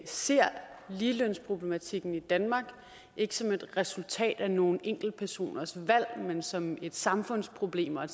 ser ligelønsproblematikken i danmark ikke som et resultat af nogle enkeltpersoners valg men som et samfundsproblem og